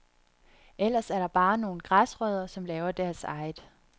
Ellers er der bare nogle græsrødder, som laver deres eget.